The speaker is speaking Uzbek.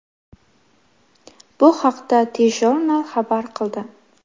Bu haqda TJournal xabar qildi .